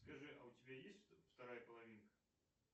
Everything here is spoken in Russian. скажи а у тебя есть вторая половинка